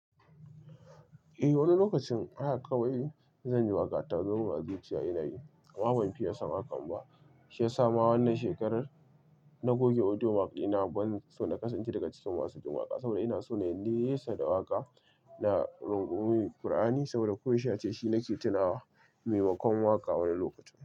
Eh wani lokacin haka kawai zan ji waƙa ta zo ma zuciya ina yi amma ban fiye son hakan ba. Shi ya sa ma wannan shekarar na goge audio mark dina ban so na kasance daga cikin masu jin waƙa saboda ina so nayi nesa da waƙa na rungumi Kur'ani saboda ko yaushe ace shi nake tunawa maimakon waƙa wani lokacin.